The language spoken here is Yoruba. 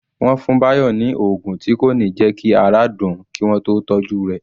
Wọ́n fún Bayo ni oògùn tí kò ní jẹ́ kí ara dùn ún kí wọ́n tó tọ́jú rẹ̀